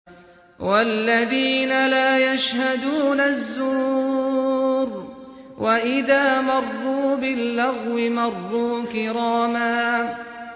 وَالَّذِينَ لَا يَشْهَدُونَ الزُّورَ وَإِذَا مَرُّوا بِاللَّغْوِ مَرُّوا كِرَامًا